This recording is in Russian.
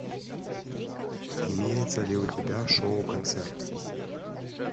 имеется ли у тебя шоу концерт